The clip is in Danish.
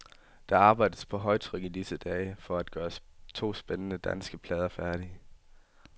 Der arbejdes på højtryk i disse dage for at gøre to spændende danske plader færdige.